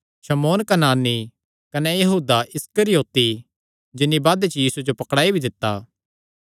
शमौन कनानी कने यहूदा इस्करियोती जिन्नी बादे च यीशुये जो पकड़ुआई भी दित्ता